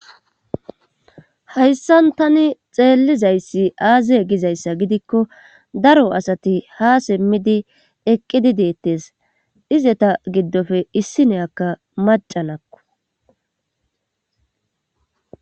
Hayssan tani xeellizayssi aaziye gizayssa gidikko daro asati ha simmidi eqqidi deettes ize ta giddofe issineyakka macalakko.